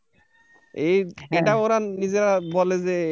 এই এটা ওরা নিজেরা বলে যে,